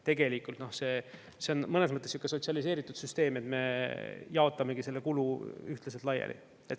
Tegelikult see on mõnes mõttes sihuke sotsialiseeritud süsteem, et me jaotame selle kulu ühtlaselt laiali.